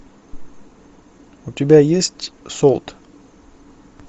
у тебя есть солт